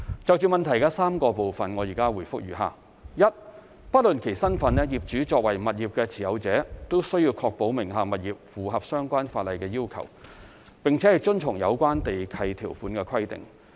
就質詢的3個部分，現答覆如下：一不論其身份，業主作為物業的持有者均須確保名下物業符合相關法例要求，並遵從有關地契條款規定。